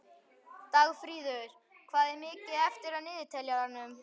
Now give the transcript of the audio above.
Dagfríður, hvað er mikið eftir af niðurteljaranum?